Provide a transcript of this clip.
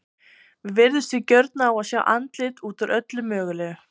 Við virðumst því gjörn á að sjá andlit út úr öllu mögulegu.